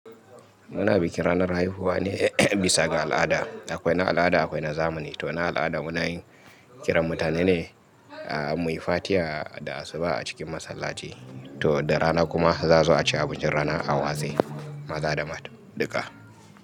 Muna bikin ranar haihuwa ne bisa ga al'ada. Akwai na al'ada, akwaina zamani. Tona al'ada munayin kiran mutane ne muyi fatiha da asuba a cikin masallaci. Toda rana kuma za'azo aci abincin rana a watse, maza da mata duka.